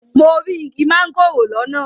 Mo rí igi mángòrò lọ́nà.